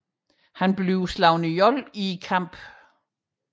Han bliver selv dræbt i kampen